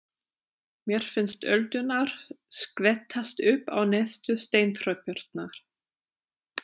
Mér finnst öldurnar skvettast upp á neðstu steintröppurnar.